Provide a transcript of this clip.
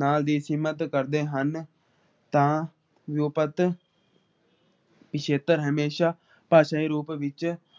ਨਾਲ ਵੀ ਸੀਮਤ ਕਰਦੇ ਹਨ । ਤਾ ਲੁਪਤ ਪਿਛੇਤਰ ਹਮੇਸ਼ਾ ਬਸਵੇ ਰੂਪ ਵਿੱਚ